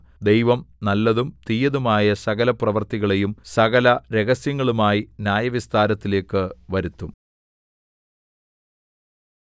ദൈവം നല്ലതും തീയതുമായ സകലപ്രവൃത്തികളെയും സകല രഹസ്യങ്ങളുമായി ന്യായവിസ്താരത്തിലേക്കു വരുത്തും